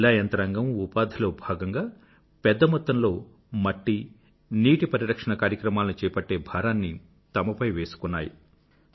జిల్లా యంత్రాంగం ఉపాధిలో భాగంగా పెద్ద మొత్తంలో మట్టి నీటి పరిరక్షణ కార్యక్రమాలను చేపట్టే భారాన్ని తమపై వేసుకున్నారు